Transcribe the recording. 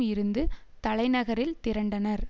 இருந்து தலைநகரில் திரண்டனர்